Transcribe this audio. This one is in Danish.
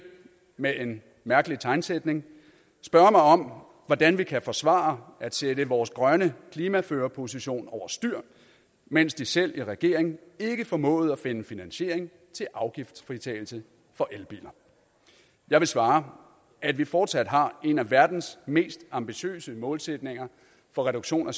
med en mærkelig tegnsætning spørge mig om hvordan vi kan forsvare at sætte vores grønne klimaførerposition over styr mens de selv i regeringen ikke formåede at finde finansiering til afgiftsfritagelse for elbiler jeg vil svare at vi fortsat har en af verdens mest ambitiøse målsætninger for reduktion af